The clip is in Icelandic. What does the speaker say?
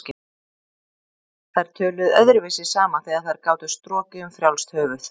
Þær töluðu öðruvísi saman þegar þær gátu strokið um frjálst höfuð.